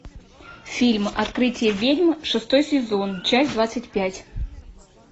фильм открытие ведьм шестой сезон часть двадцать пять